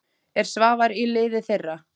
Er Svavar í liði þeirra?